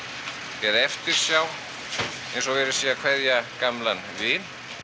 eða eftirsjá eins og verið sé að kveðja gamlan vin